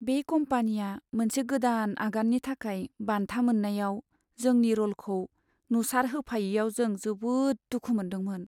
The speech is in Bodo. बे कम्पानिया मोनसे गोदान आगाननि थाखाय बान्था मोन्नायाव जोंनि र'लखौ नुसारहोफायैयाव जों जोबोद दुखु मोन्दोंमोन।